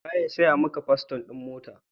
Wa ya saya wa paston mota?